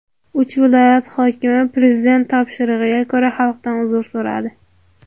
Uch viloyat hokimi Prezident topshirig‘iga ko‘ra xalqdan uzr so‘radi.